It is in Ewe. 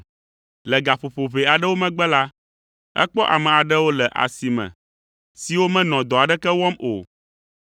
“Le gaƒoƒo ʋɛ aɖewo megbe la, ekpɔ ame aɖewo le asi me siwo menɔ dɔ aɖeke wɔm o.